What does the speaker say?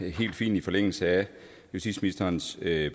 helt fint i forlængelse af justitsministerens